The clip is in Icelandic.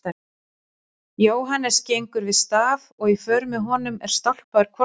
Jóhannes gengur við staf og í för með honum er stálpaður hvolpur.